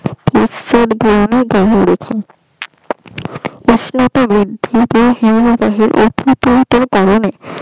কারনে